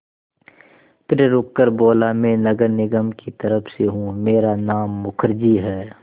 फिर रुककर बोला मैं नगर निगम की तरफ़ से हूँ मेरा नाम मुखर्जी है